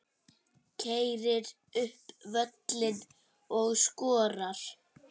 Keyrir upp völlinn og skorar.